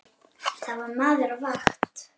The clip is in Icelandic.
Þar var maður á vakt.